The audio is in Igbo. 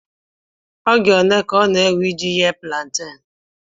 Oge ole ka ọ na-ewe iji ghee púlanténú